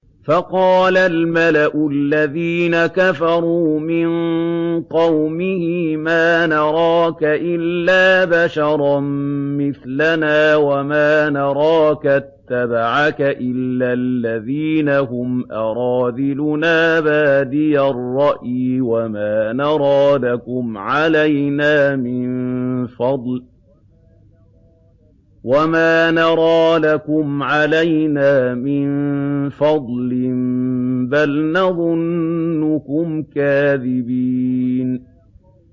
فَقَالَ الْمَلَأُ الَّذِينَ كَفَرُوا مِن قَوْمِهِ مَا نَرَاكَ إِلَّا بَشَرًا مِّثْلَنَا وَمَا نَرَاكَ اتَّبَعَكَ إِلَّا الَّذِينَ هُمْ أَرَاذِلُنَا بَادِيَ الرَّأْيِ وَمَا نَرَىٰ لَكُمْ عَلَيْنَا مِن فَضْلٍ بَلْ نَظُنُّكُمْ كَاذِبِينَ